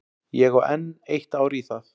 Ég á enn eitt ár í það.